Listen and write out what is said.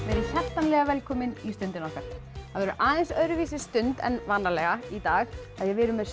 verið hjartanlega velkomin í Stundina okkar það verður aðeins öðruvísi stund en vanalega í dag af því við erum með